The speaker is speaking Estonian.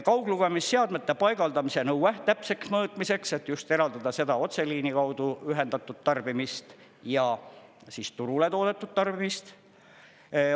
Kauglugemisseadmete paigaldamise nõue täpseks mõõtmiseks, et just eraldada seda otseliini kaudu ühendatud tarbimist ja turule toodetud tarbimist.